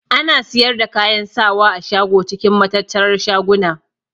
Ana siyar da kayan sawa a shago cikin matattarar shaguna.